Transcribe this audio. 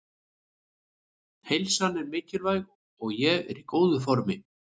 Heilsan er mikilvæg og ég er í góðu formi.